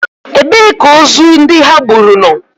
Ebee ka ozu ndị ha gburu nọ?